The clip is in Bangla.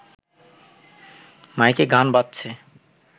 মাইকে গান বাজছে